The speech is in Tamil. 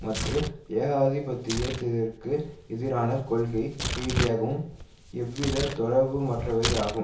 மற்று ஏகாதிபத்தியத்திற்கு எதிரான கொள்கை ரீதியாகவும் எவ்வித தொடர்புமற்றவையாகும்